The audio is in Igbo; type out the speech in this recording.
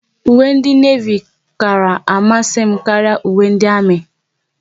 Uwe ndị Nevi kara amasị m karịa uwe ndị Armi